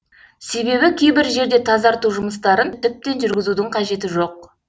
себебі кейбір жерде тазарту жұмыстарын тіптен жүргізудің қажеті жоқ